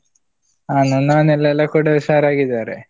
ಹ ನನ್ನ ಮನೆಯಲ್ಲಿ ಎಲ್ಲ ಕೂಡ ಹುಷರಾಗಿದ್ದಾರೆ.